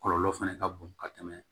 Kɔlɔlɔ fɛnɛ ka bon ka tɛmɛ